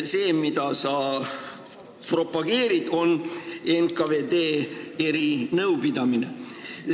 See, mida sa propageerid, on NKVD erinõupidamine.